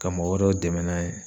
Ka mɔgɔ wɛrɛw dɛmɛ n'a ye